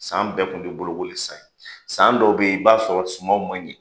San bɛɛ kun ti bolokoli san ye san dɔw bɛ yen i b'a sɔrɔ sumaw ma ɲɛ.